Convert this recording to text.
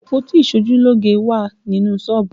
Àpótí iṣojúlógé wà nínú sọ́ọ̀bù